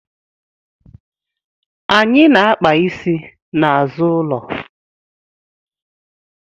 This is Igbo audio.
Anyị na akpa isi na azụ ụlọ